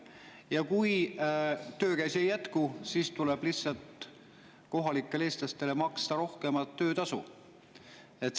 Ja kui töökäsi ei jätku, siis tuleb lihtsalt kohalikele eestlastele maksta rohkem töötasu.